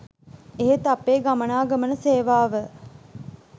එහෙත් අපේ ගමනාගමන සේවාව